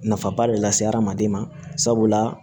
Nafaba de lase hadamaden ma sabula